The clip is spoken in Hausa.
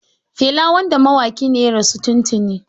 Fela wanda mawaƙi ne ya rasu tuntuni.